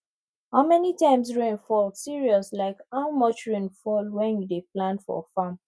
how many times rain fall serious like how much rain fall when you dey plan for farm